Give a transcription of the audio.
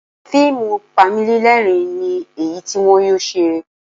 Fíìmù Panilẹ́rìn-ín ni èyí tí wọn yóò ṣe